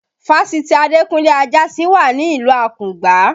Fásitì Adekunle Ajasin wà ní ìlú Akungba